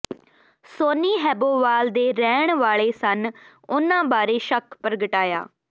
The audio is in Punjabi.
ਸੋਨੀ ਹੈਬੋਵਾਲ ਦੇ ਰਹਿਣ ਵਾਲੇ ਸਨ ਉਨ੍ਹਾਂ ਬਾਰੇ ਸ਼ੱਕ ਪ੍ਰਗਟਾਇਆ